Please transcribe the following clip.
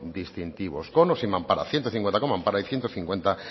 distintivos con o sin mampara ciento cincuenta con mampara y ciento cincuenta